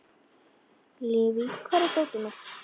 Leivi, hvar er dótið mitt?